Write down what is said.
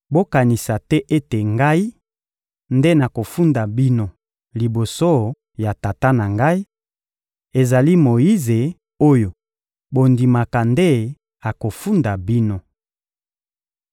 Bokanisa te ete Ngai nde nakofunda bino liboso ya Tata na Ngai, ezali Moyize oyo bondimaka nde akofunda bino.